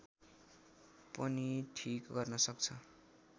पनि ठीक गर्न सक्छ